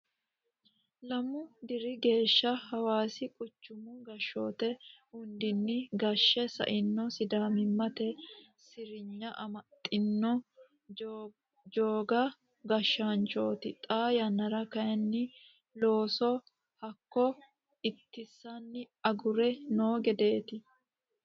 Lamu diri geeshsha hawaasi quchumu gashshoti hundanni gashshe saino sidaamimate sirinya amaxino joga gashshaanchoti xa yannara kayinni looso hakkoe ittinsenna agure no gedeti.